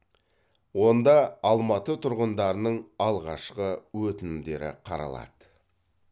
онда алматы тұрғындарының алғашқы өтінімдері қаралады